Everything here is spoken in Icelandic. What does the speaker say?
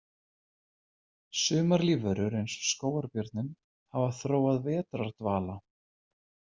Sumar lífverur eins og skógarbjörninn hafa þróað vetrardvala.